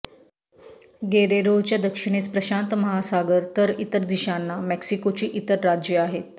गेरेरोच्या दक्षिणेस प्रशांत महासागर तर इतर दिशांना मेक्सिकोची इतर राज्ये आहेत